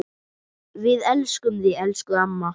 Við elskum þig, elsku amma.